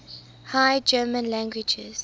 high german languages